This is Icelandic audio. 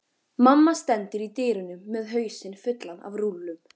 Mamma stendur í dyrunum með hausinn fullan af rúllum.